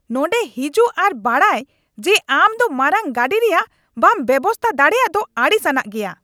ᱱᱚᱸᱰᱮ ᱦᱤᱡᱩᱜ ᱟᱨ ᱵᱟᱰᱟᱭ ᱡᱮ ᱟᱢ ᱫᱚ ᱢᱟᱨᱟᱝ ᱜᱟᱹᱰᱤ ᱨᱮᱭᱟᱜ ᱵᱟᱢ ᱵᱮᱵᱚᱥᱛᱟ ᱫᱟᱲᱮᱭᱟᱜ ᱫᱚ ᱟᱹᱲᱤᱥ ᱟᱱᱟᱜ ᱜᱮᱭᱟ ᱾